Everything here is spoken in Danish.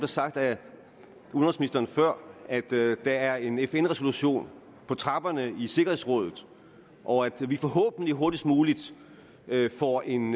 sagt af udenrigsministeren før at der er en fn resolution på trapperne i sikkerhedsrådet og at vi forhåbentlig hurtigst muligt får en